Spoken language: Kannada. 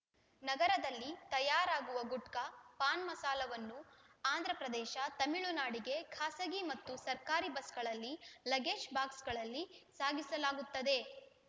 ನಗರದಲ್ಲಿ ತಯಾರಾಗುವ ಗುಟ್ಕಾ ಪಾನ್‌ಮಸಾಲವನ್ನು ಆಂಧ್ರಪ್ರದೇಶ ತಮಿಳುನಾಡಿಗೆ ಖಾಸಗಿ ಮತ್ತು ಸರ್ಕಾರಿ ಬಸ್‌ಗಳಲ್ಲಿ ಲಗೇಜ್‌ ಬಾಕ್ಸ್‌ಗಳಲ್ಲಿ ಸಾಗಿಸಲಾಗುತ್ತದೆ